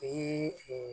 O ye